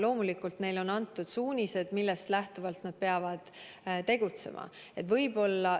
Loomulikult on neile antud suunised, millest lähtuvalt nad peavad tegutsema.